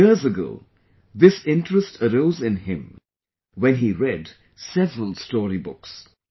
Years ago, this interest arose in him when he read several story books